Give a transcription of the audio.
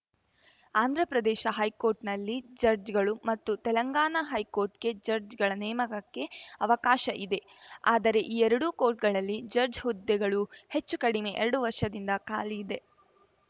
ಆಂಧ್ರಪ್ರದೇಶ ಹೈಕೋರ್ಟ್‌ನಲ್ಲಿ ಜಡ್ಜ್‌ಗಳು ಮತ್ತು ತೆಲಂಗಾಣ ಹೈಕೋರ್ಟ್‌ಗೆ ಜಡ್ಜ್‌ಗಳ ನೇಮಕಕ್ಕೆ ಅವಕಾಶ ಇದೆ ಆದರೆ ಈ ಎರಡೂ ಕೋರ್ಟ್‌ಗಳಲ್ಲಿ ಜಡ್ಜ್‌ ಹುದ್ದೆಗಳು ಹೆಚ್ಚು ಕಡಿಮೆ ಎರಡು ವರ್ಷದಿಂದ ಖಾಲಿ ಇದೆ